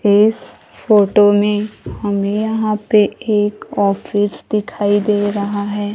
इस फोटो में हमें यहां पे एक ऑफिस दिखाई दे रहा है।